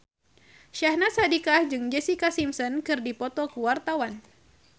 Syahnaz Sadiqah jeung Jessica Simpson keur dipoto ku wartawan